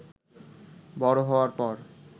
বড় হওয়ার পর